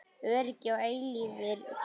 Öryggi og eilífir draumar